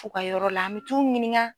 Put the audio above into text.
U ka yɔrɔ la an mɛ t'u ɲininka.